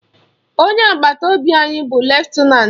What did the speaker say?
Onye agbata obi anyị bụ lutenanti